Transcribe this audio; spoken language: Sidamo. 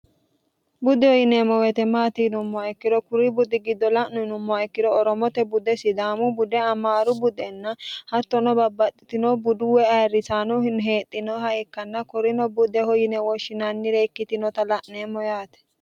budeho yineemmo woyite maati yinnummoha ikkiro kuri budi giddo la'no yinummoha ikkiro oromote bude sidaamu bude amaaru budennahattono babbaxitino buduwa ayrisiiniha ikkanna kurino budeho yine woshinannire ikkitinota la'neemmo yaate